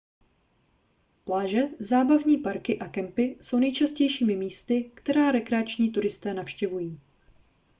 pláže zábavní parky a kempy jsou nejčastějšími místy která rekreační turisté navštěvují